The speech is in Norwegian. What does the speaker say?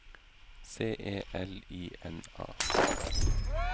C E L I N A